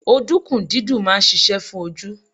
Odunkun dídùn máa ń ṣíṣe fún ojú.